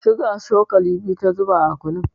Suga cokali biyu ta zuba a kunun.